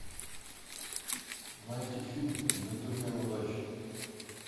найти фильм джентльмены удачи